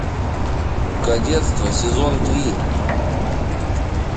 кадетство сезон три